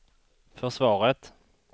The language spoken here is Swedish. försvaret